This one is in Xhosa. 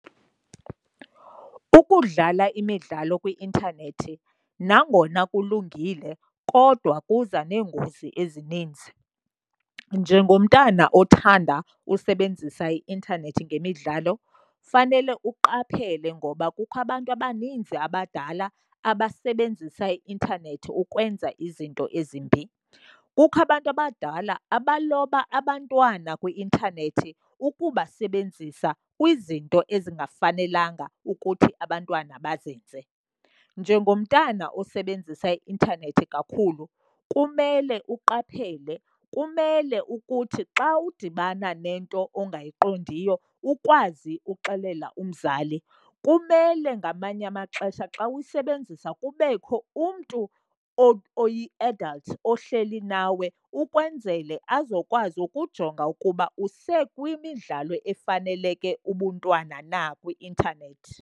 Ukudlala imidlalo kwi-intanethi nangona kulungile kodwa kuza neengozi ezininzi. Njengomntana othanda usebenzisa i-intanethi ngemidlalo kufanele uqaphele ngoba kukho abantu abaninzi abadala abasebenzisa i-intanethi ukwenza izinto ezimbi. Kukho abantu abadala abaloba abantwana kwi-intanethi ukubasebenzisa kwizinto ezingafanelanga ukuthi abantwana bazenze. Njengomntana osebenzisa i-intanethi kakhulu kumele uqaphele, kumele ukuthi xa udibana nento ongayiqondiyo ukwazi uxelela umzali. Kumele ngamanye amaxesha xa uyisebenzisa kubekho umntu oyi-adult ohleli nawe ukwenzele azokwazi ukujonga ukuba usekwimidlalo efaneleke ubuntwana na kwi-intanethi.